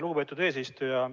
Lugupeetud eesistuja!